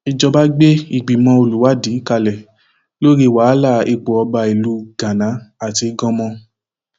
ìjọba gbé ìgbìmọ olùwádìí kalẹ lórí wàhálà ipò ọba ìlú gánà àti ganmo